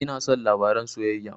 Ina son labaren soyayya